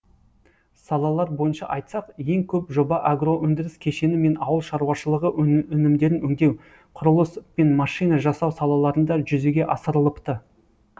салалар бойынша айтсақ ең көп жоба агроөндіріс кешені мен ауыл шаруашылығы өнімдерін өңдеу құрылыс пен машина жасау салаларында жүзеге асырылыпты